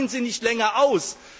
Aber weichen Sie nicht länger aus.